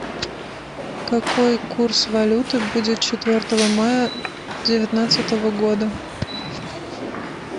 какой курс валюты будет четвертого мая девятнадцатого года